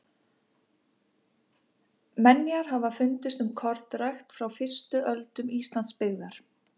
menjar hafa fundist um kornrækt frá fyrstu öldum íslandsbyggðar